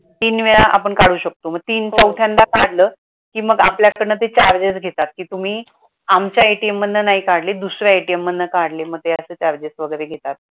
तीन वेळा आपण काढू शकतो मग तीन चौथ्यांदा काढल तर मग आपल्या कडन ते charges घेतात कि तुम्ही आमच्या ATM मधन नाही काढले दुसऱ्या ATM मधन काढले मग ते असं charges वगरे घेतात